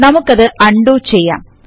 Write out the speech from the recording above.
നമുക്കതു ഉണ്ടോ ചെയ്യാം